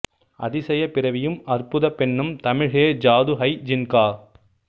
அதிசய பிறவியும் அற்புத பெண்ணும் தமிழ் யே ஜாது ஹை ஜின் கா